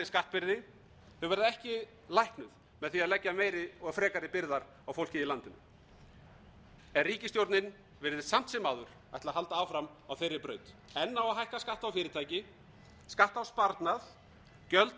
skattbyrði þau verða ekki læknuð með því að leggja meiri og frekari byrðar á fólkið í landinu en ríkisstjórnin virðist samt sem áður ætla að halda áfram á þeirri braut enn á að hækka skatta á fyrirtæki skatta á sparnað gjöld á vörur sem leiða til hækkunar